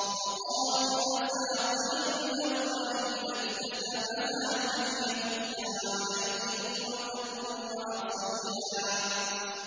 وَقَالُوا أَسَاطِيرُ الْأَوَّلِينَ اكْتَتَبَهَا فَهِيَ تُمْلَىٰ عَلَيْهِ بُكْرَةً وَأَصِيلًا